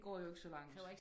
De går jo ikke så langt